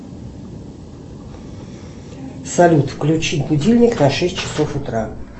салют включи будильник на шесть часов утра